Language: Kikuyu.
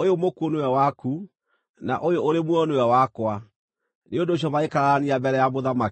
Ũyũ mũkuũ nĩwe waku, na ũyũ ũrĩ muoyo nĩwe wakwa.” Nĩ ũndũ ũcio magĩkararania mbere ya mũthamaki.